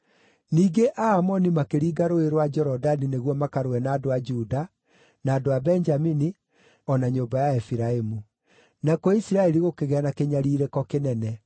Ningĩ Aamoni makĩringa Rũũĩ rwa Jorodani nĩguo makarũe na andũ a Juda, na andũ a Benjamini, o na nyũmba ya Efiraimu; nakuo Isiraeli gũkĩgĩa na kĩnyariirĩko kĩnene.